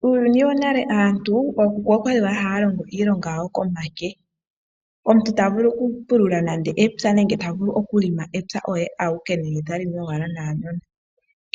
Muuyuni wonale aantu, ookuku okwali haya longo iilonga yawo komake. Omuntu tavulu okupulula nenge okulima epya oye awike, nenge talimi owala naanono.